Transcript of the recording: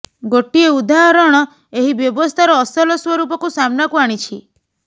େଗାଟିଏ ଉଦାହରଣ ଏହି ବ୍ୟବସ୍ଥାର ଅସଲ ସ୍ବରୂପକୁ ସାମ୍ନାକୁ ଆଣିଛି